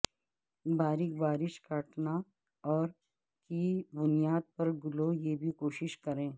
باریک بارش کاٹنا اور کی بنیاد پر گلو یہ بھی کوشش کریں